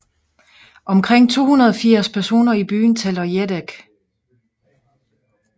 Omkring 280 personer i byen taler jedek